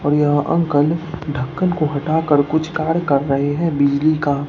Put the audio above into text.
और यहां अंकल ढक्कन को हटाकर कुछ कार्य कर रहे हैं बिजली का।